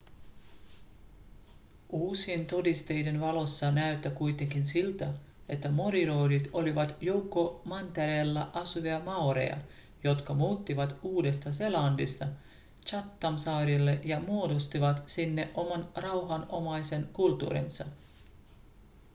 uusien todisteiden valossa näyttää kuitenkin siltä että moriorit olivat joukko mantereella asuvia maoreja jotka muuttivat uudesta-seelannista chathamsaarille ja muodostivat sinne oman rauhanomaisen kulttuurinsa